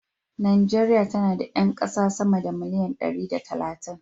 Najeriya tana da 'yan kasa sama da miliyan dari da talatin.